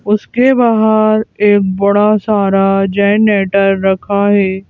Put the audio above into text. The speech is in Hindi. उसके बाहर एक बड़ा सारा जनरेटर रखा है।